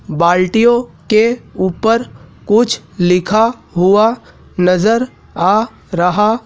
बाल्टियों के ऊपर कुछ लिखा हुआ नजर आ रहा--